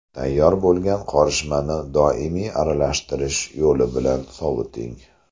Tayyor bo‘lgan qorishmani doimiy aralashtirish yo‘li bilan soviting.